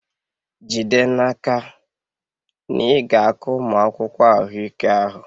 Jide n'aka na ị ga-akọ ụmụ akwụkwọ ahụike ahụ!